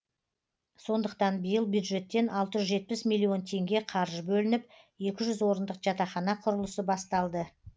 сондықтан биыл бюджеттен алты жүз жетпіс миллион теңге қаржы бөлініп екі жүз орындық жатақхана құрылысы басталды